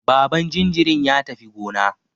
Baban jinjirin ya tafi gona.